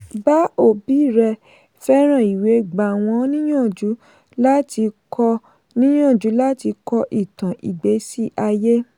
bá òbí rẹ fẹ́ràn ìwé gbà wọ́n níyànjú láti kọ níyànjú láti kọ ìtàn ìgbésí ayé.